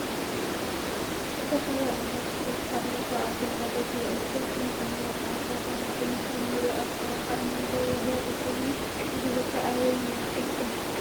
ዝተፈላለዩ ዓየነታተ እስፓተ አለው ካበአቶም ሓደ ጉያ እዩ። ሰፓረቲ ንጥዕና ብጣዕሚ ጠቃሚ ኮይኑ ከም እንሪኦ አብ በረካ እናጎዩ ዘሪኢ ኮይኑ እዚ ቦታ አበይ ይመስለኩም?